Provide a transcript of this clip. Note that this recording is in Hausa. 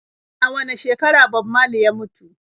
A wane shekara Bob marley ya mutu?